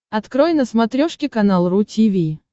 открой на смотрешке канал ру ти ви